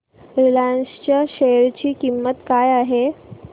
Reliance च्या share ची किंमत काय आहे